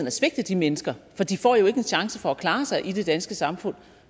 at svigte de mennesker for de får ikke en chance for at klare sig i det danske samfund